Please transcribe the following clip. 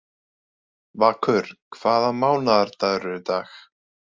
Vakur, hvaða mánaðardagur er í dag?